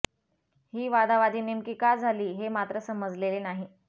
ही वादावादी नेमकी का झाली हे मात्र समजलेले नाही